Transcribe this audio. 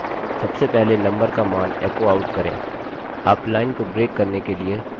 आप लाइन को ब्रेक करने के लिए इसे एक छोटे से html कोड के साथ जोड़ सकते हैं